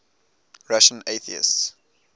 russian atheists